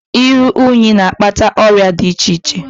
Iru unyi na-akpata ọrịa di iche iche.